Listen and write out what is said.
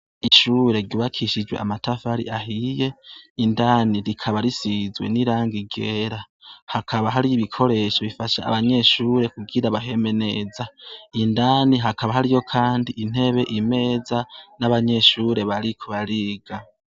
ishure ryubakishijwe amatafari ahiye indani rikaba risizwe n'irangi ryera hakaba hari ibikoresho bifasha abanyeshure kugira baheme neza indani hakaba hariyo kandi intebe imeza n'abanyeshure bari kobariga